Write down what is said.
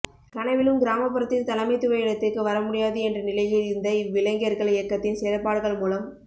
கனவிலும் கிராமப்புறத்தில் தலைமைத்துவ இடத்திற்கு வரமுடியாது என்ற நிலையில் இருந்த இவ்விளைஞர்கள் இயக்கத்தின் செயல்பாடுகள் மூலம்